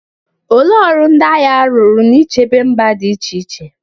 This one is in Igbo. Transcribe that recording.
Olee ọrụ ndị agha rụrụ n'ichebe mba dị iche iche?